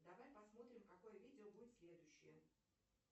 давай посмотрим какое видео будет следующее